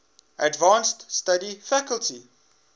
advanced study faculty